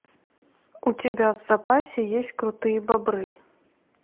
у тебя в запасе есть крутые бобры